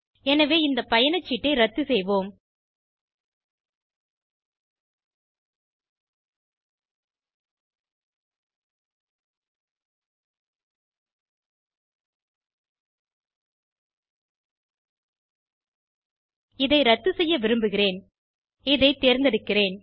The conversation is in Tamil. எனவே இந்த பயணச்சீட்டை இரத்து செய்வோம் இதை இரத்து செய்ய விரும்புகிறேன் இதை தேர்ந்தெடுக்கிறேன்